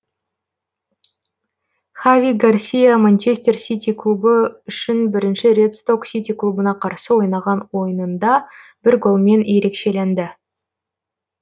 хави гарсия манчестер сити клубы үшін бірінші рет сток сити клубына қарсы ойнаған ойынында бір голмен ерекшелінді